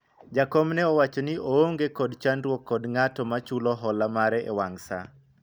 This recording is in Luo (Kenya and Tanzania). jakom ne owacho ni oonge kod chandruok kod ng'at ma chulo hola mare e wang' saa